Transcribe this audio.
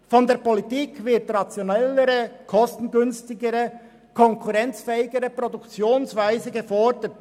Von der Politik wird eine rationellere, kostengünstigere und konkurrenzfähigere Produktionsweise gefordert.